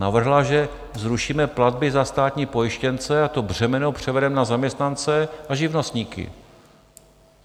Navrhla, že zrušíme platby za státní pojištěnce a to břemeno převedeme na zaměstnance a živnostníky.